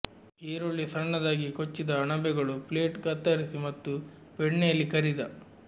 ಈರುಳ್ಳಿ ಸಣ್ಣದಾಗಿ ಕೊಚ್ಚಿದ ಅಣಬೆಗಳು ಪ್ಲೇಟ್ ಕತ್ತರಿಸಿ ಮತ್ತು ಬೆಣ್ಣೆಯಲ್ಲಿ ಕರಿದ